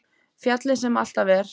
Fjallið sem alltaf er.